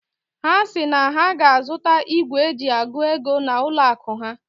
Ha si na ha ga-azụta igwe eji agụ ego na n'ụlọ akụ ha.